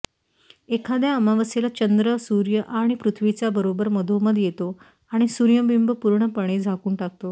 एखाद्या अमावस्येला चंद्र सूर्य आणि पृथ्वीच्या बरोबर मधोमध येतो आणि सूर्यबिंब पूर्णपणे झाकून टाकतो